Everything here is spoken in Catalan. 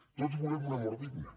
tots volem una mort digna